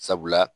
Sabula